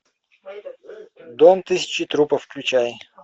дом тысячи трупов включай